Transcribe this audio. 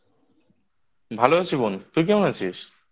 ভালো আছি বোন। তুই কেমন আছিস?